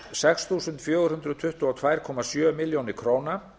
sex þúsund fjögur hundruð tuttugu og tvö komma sjö milljónir króna